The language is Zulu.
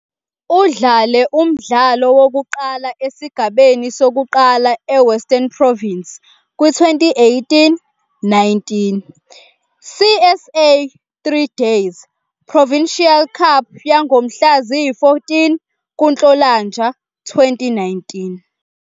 Udlale umdlalo wokuqala esigabeni sokuqala eWestern Province kwi- 2018-19 CSA 3-Day Provincial Cup yangomhla ziyi-14 kuNhlolanja 2019.